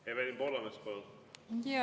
Evelin Poolamets, palun!